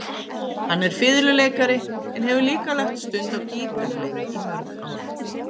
Hann er fiðluleikari en hefur líka lagt stund á gítarleik í mörg ár.